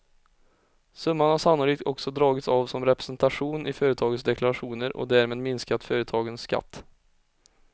Summan har sannolikt också dragits av som representation i företagens deklarationer och därmed minskat företagens skatt.